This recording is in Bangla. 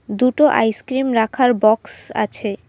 দুটো আইস ক্রিম রাখার বক্স আছে।